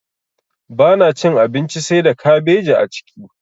Bana cin abinci saida kabeji a ciki.